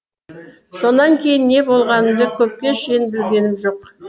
сонан кейін не болғанымды көпке шейін білгенім жоқ